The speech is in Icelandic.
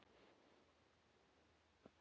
Þú kenndir okkur svo margt.